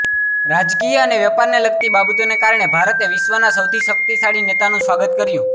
રાજકીય અને વેપારને લગતી બાબતોને કારણે ભારતે વિશ્વના સૌથી શક્તિશાળી નેતાનું સ્વાગત કર્યું